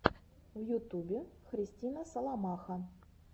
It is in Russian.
в ютубе христина соломаха